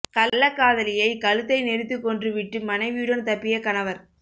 கள்ளக்காதலிலையை கழுத்தை நெரித்துக் கொன்று விட்டு மனைவியுடன் தப்பிய கணவர்